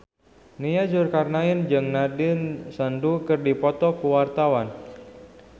Nia Zulkarnaen jeung Nandish Sandhu keur dipoto ku wartawan